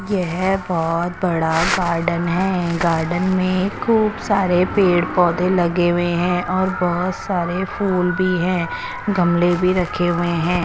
येह बोहोत बड़ा गार्डन है गार्डन में खूब सारे पेड़ पोधे लगे हुए है और बोहोत सारे फुल भी है गमले भी रखे हुए है।